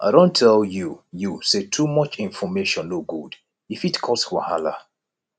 i don tell you you sey too much information no good e fit cause wahala